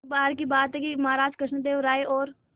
एक बार की बात है कि महाराज कृष्णदेव राय और